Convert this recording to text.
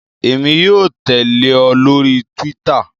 Emi yóò tẹle ọ lori Túwìtá